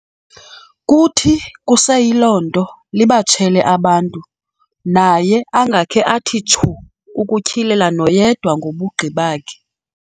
Kuthi kuseyiloo nto libatshele abantu, naye angakhe athi tshu ukutyhilela noyedwa ngobu bugqi bakhe.